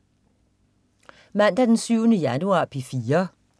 Mandag den 7. januar - P4: